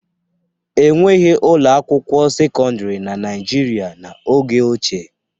E nweghi ụlọ akwụkwọ sekọndịrị na Naịjirịa n'oge ochie.